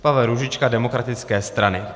Pavel Růžička: Demokratické strany.